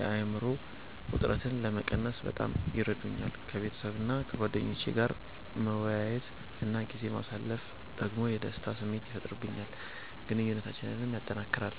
የአእምሮ ውጥረትን ለመቀነስ በጣም ይረዱኛል። ከቤተሰቤና ከጓደኞቼ ጋር መወያየት እና ጊዜ ማሳለፍ ደግሞ የደስታ ስሜት ይፈጥርልኛል፣ ግንኙነታችንንም ያጠናክራል።